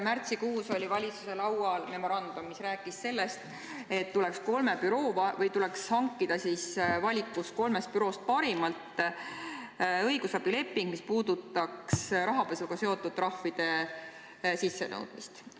Märtsikuus oli valitsuse laual memorandum, mis rääkis sellest, et tuleks hankida valikus olevast kolmest büroost parim õigusabileping, mis puudutaks rahapesuga seotud trahvide sissenõudmist.